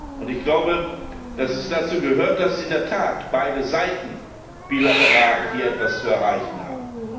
Und ich glaube, dass es dazu gehört, dass in der Tat beide Seiten bilateral hier etwas zu erreichen haben.